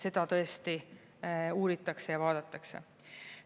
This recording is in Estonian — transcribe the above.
Seda tõesti uuritakse ja vaadatakse.